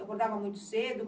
Acordava muito cedo?